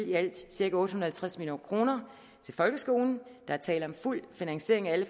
i alt cirka otte halvtreds million kroner til folkeskolen der er tale om fuld finansiering af alle